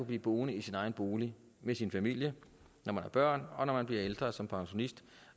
blive boende i sin egen bolig med sin familie når man har børn og når man bliver ældre altså som pensionist